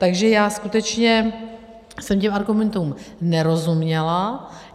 Takže já skutečně jsem těm argumentům nerozuměla.